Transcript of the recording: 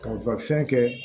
Ka kɛ